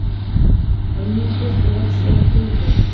Og nú birti loks yfir Heiðu.